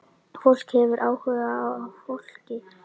Fólk hefur áhuga á fólki.